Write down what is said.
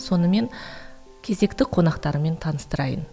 сонымен кезекті қонақтарыммен таныстырайын